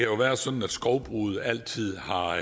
jo været sådan at skovbruget altid har